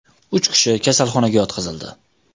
Uch kishi kasalxonaga yotqizildi.